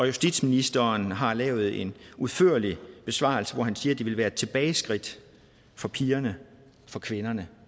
justitsministeren har lavet en udførlig besvarelse hvori han siger at det ville være et tilbageskridt for pigerne for kvinderne